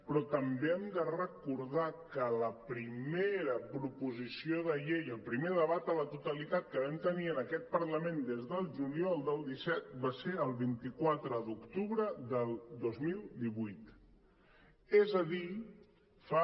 però també hem de recordar que la primera proposició de llei el primer debat a la totalitat que vam tenir en aquest parlament des del juliol del disset va ser el vint quatre d’oc·tubre del dos mil divuit és a dir fa